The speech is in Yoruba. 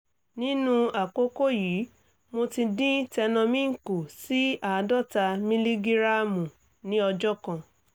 nínú àkókò yìí mo ti dín tenormin kù sí àádọ́ta mílígíráàmù ní ọjọ́ kan